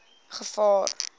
gevaar